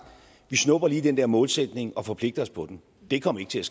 vi snupper lige den der målsætning og forpligter os på den det kom ikke til